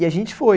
E a gente foi.